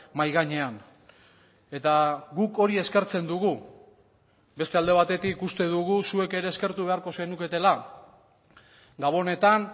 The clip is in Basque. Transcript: mahai gainean eta guk hori eskertzen dugu beste alde batetik uste dugu zuek ere eskertu beharko zenuketela gabonetan